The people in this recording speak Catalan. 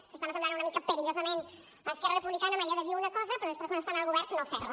s’estan assemblant una mica perillosament a esquerra republicana en allò de dir una cosa però després quan estan al govern no fer la